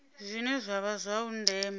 zwine zwa vha zwa ndeme